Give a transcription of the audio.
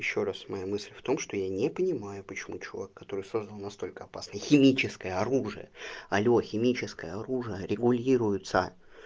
ещё раз моя мысль в том что я не понимаю почему чувак который создал настолько опасное химическое оружие алло химическое оружие регулируется